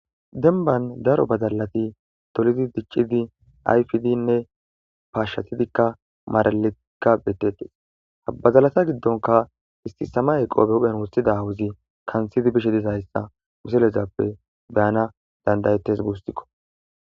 Denban daro badalati tolidi diccidi ayfidinne paashshatidikka maralikka bettettes bazalata giddonka isti sama ayqo behuphen wossida hawuzi kantidi bishe dizahayssa miselezappe beyana dandayetes guusikko.